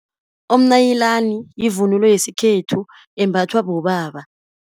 Umnayilani yivunulo yesikhethu imbathwa bobaba.